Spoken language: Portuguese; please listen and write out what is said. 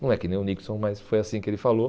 Não é que nem o Nixon, mas foi assim que ele falou.